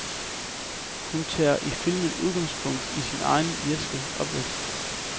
Han tager i filmen udgangspunkt i sin egen irske opvækst.